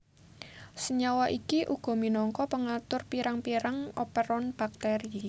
Senyawa iki uga minangka pengatur pirang pirang operon bakteri